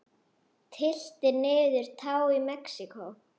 Tylltir niður tá í Mexíkó.